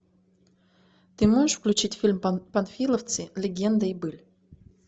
ты можешь включить фильм панфиловцы легенда и быль